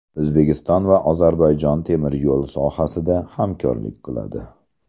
O‘zbekiston va Ozarbayjon temir yo‘l sohasida hamkorlik qiladi.